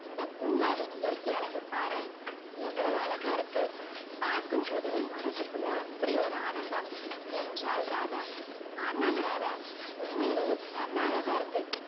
இந்த பூங்காவின் இயற்க்கை அழகை பாரே எவ்வளவு அழகா இருக்கு பாக்கும் போதே மனசுக்குள்ள அப்படி ஒரு ஆனந்தம் என்றால் ராதா உண்மையிலே செம அழகா இருக்கு